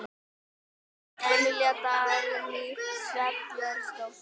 Mynd: Emilía Dagný Sveinbjörnsdóttir.